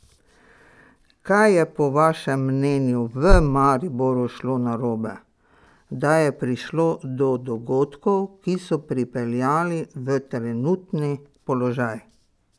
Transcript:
Kaj je po vašem mnenju v Mariboru šlo narobe, da je prišlo do dogodkov, ki so pripeljali v trenutni položaj?